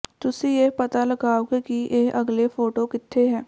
ਤੁਸੀਂ ਇਹ ਪਤਾ ਲਗਾਓਗੇ ਕਿ ਇਹ ਅਗਲੇ ਫੋਟੋ ਕਿੱਥੇ ਹੈ